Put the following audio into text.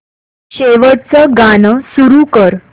शेवटचं गाणं सुरू कर